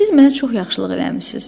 Siz mənə çox yaxşılıq eləmisiniz.